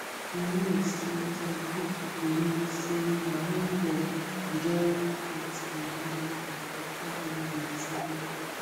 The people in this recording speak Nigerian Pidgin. you know say some people believe say na wen dem join faith and medicine before dem um go truly heal